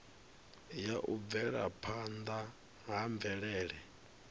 ya u bvelaphanda ha mvelele